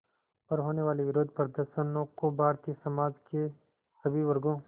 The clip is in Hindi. पर होने वाले विरोधप्रदर्शनों को भारतीय समाज के सभी वर्गों